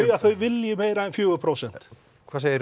að þau vilji meira en fjögur prósent hvað segir